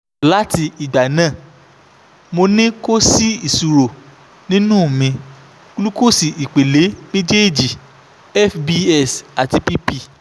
lati igba naa mo ni ko si isoro ninu mi glucose ipele mejeeji fbs ati pp